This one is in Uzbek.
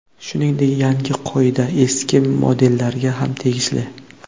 Shuningdek, yangi qoida eski modellarga ham tegishli.